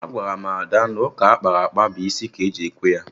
Agwara m Ada na ụka akpara akpa bụ isi ka eji ekwe ya